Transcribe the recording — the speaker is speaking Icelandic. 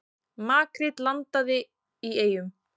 Makríl landað í Eyjum